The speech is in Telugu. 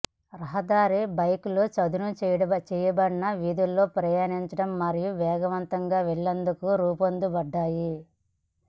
రహదారి బైకులు చదును చేయబడిన వీధుల్లో ప్రయాణించడం మరియు వేగవంతంగా వెళ్లేందుకు రూపొందించబడ్డాయి